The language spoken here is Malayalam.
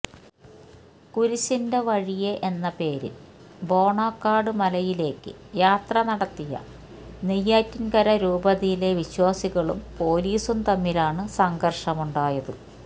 കുരിശിന്റെ വഴിയെ എന്ന പേരില് ബോണക്കാട് മലയിലേക്ക് യാത്ര നടത്തിയ നെയ്യാറ്റിന്കര രൂപതയിലെ വിശ്വാസികളും പൊലീസും തമ്മിലാണ് സംഘര്ഷമുണ്ടായത്